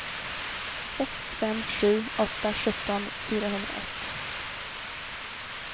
sex fem sju åtta sjutton fyrahundraett